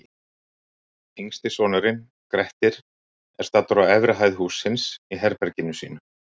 Yngsti sonurinn, Grettir, er staddur á efri hæð hússins, í herberginu sínu.